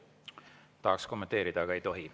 Tahaksin kommenteerida, aga ei tohi.